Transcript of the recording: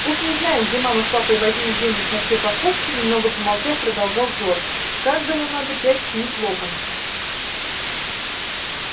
уж не знаю где мама с папой возьмут денег на все покупки немного помолчав продолжал джордж каждому надо пять книг локонса